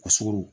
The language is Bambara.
Kɔsigoro